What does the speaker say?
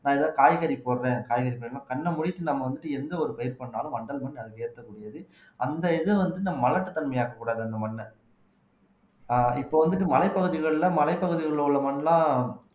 நான் காய்கறி போடுறேன் காய்கறி போடுறேன் கண்ணை மூடிட்டு நம்ம வந்துட்டு எந்த ஒரு பயிர் பண்ணாலும் வண்டல் மண் அதுக்கு ஏத்தக்கூடியது அந்த இது வந்து இந்த மலட்டுத்தன்மை ஆக்கக் கூடாது அந்த மண்ணை ஆஹ் இப்ப வந்துட்டு மலைப்பகுதிகள்ல மலைப்பகுதிகள்ல உள்ள மண்லாம்